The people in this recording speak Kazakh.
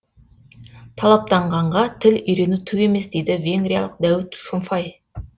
талаптанғанға тіл үйрену түк емес дейді венгриялық дәуіт шомфай